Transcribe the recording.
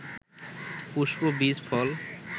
পুষ্প, বীজ, ফল